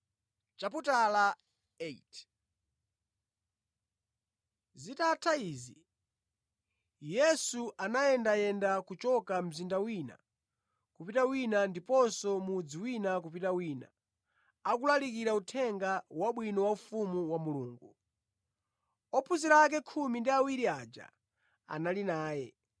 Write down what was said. Zitatha izi, Yesu anayendayenda kuchoka mzinda wina kupita wina ndiponso mudzi wina kupita wina, akulalikira Uthenga Wabwino wa ufumu wa Mulungu. Ophunzira ake khumi ndi awiri aja anali naye,